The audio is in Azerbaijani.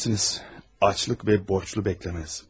Bilirsiniz, aclıq və borclu gözləməz.